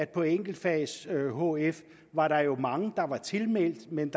på enkeltfags hf var mange der var tilmeldt men